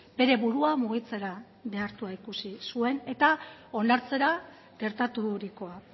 bere burua mugitzera behartua ikusi zuen eta onartzera gertaturikoa